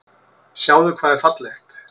Sjáðu hvað er fallegt.